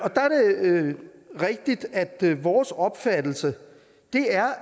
rigtigt at det er vores opfattelse